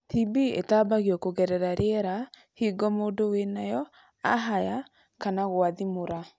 TB ĩtambagio kũgerera rĩera hĩngo mũndu wĩnayo ahaya kana gwathimũra.